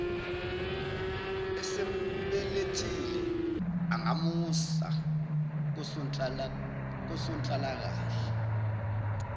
esembelethile angamusa kosonhlalakahle